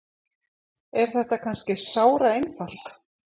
Er þetta kannski sáraeinfalt?